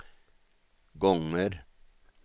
gånger